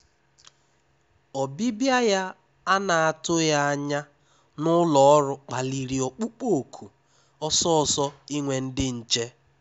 Ọ́bịbịá yá à nà-àtụghí ányá n’úlọ́ ọ́rụ́ kpálirì ọ́kpụ́kpọ́ òkù ọ́sọ́ọ́sọ́ ínwé ndí nché.